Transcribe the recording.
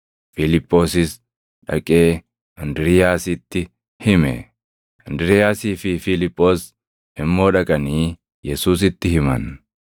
Fiiliphoosis dhaqee Indiriiyaasitti hime; Indiriiyaasii fi Fiiliphoos immoo dhaqanii Yesuusitti himan.